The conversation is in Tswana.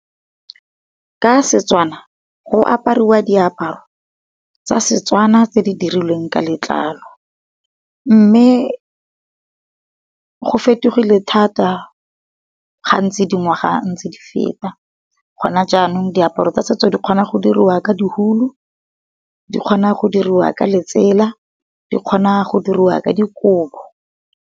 Ka Setswana, go aparwa di aparo tsa Setswana tse di dirilweng ka letlalo. Mme go fetogile thata ga ntse di ngwaga ntse di feta, gona jaanong di aparo tsa setso di kgona go diriwa ka diulu, di kgona go diriwa ka letsela, di kgona go diriwa ka dikobo.